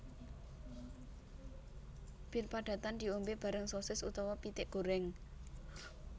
Bir padatan diombe bareng sosis utawa pitik goreng